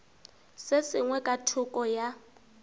se sengwe ka thoko ya